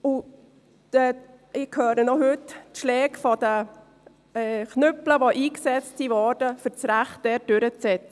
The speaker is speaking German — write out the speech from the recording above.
Ich höre heute noch die Schläge der Knüppel, die eingesetzt wurden, um dort das Recht durchzusetzen.